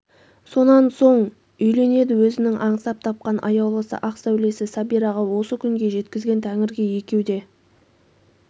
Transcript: сонан соң үйленеді өзінің аңсап тапқан аяулысы ақ сәулесі сәбираға осы күнге жеткізген тәңірге екеу де